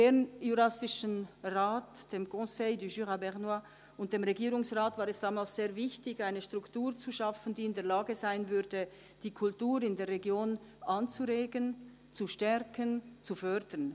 Dem BJR, dem Conseil du Jura bernois, und dem Regierungsrat war es damals sehr wichtig, eine Struktur zu schaffen, die in der Lage sein würde, die Kultur in der Region anzuregen, zu stärken, zu fördern.